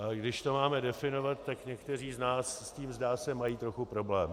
A když to máme definovat, tak někteří z nás s tím, zdá se, mají trochu problém.